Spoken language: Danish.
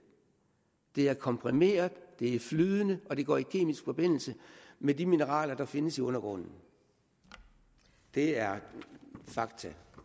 det er komprimeret det er flydende og det går i kemisk forbindelse med de mineraler der findes i undergrunden det er fakta